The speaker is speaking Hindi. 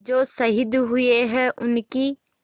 जो शहीद हुए हैं उनकी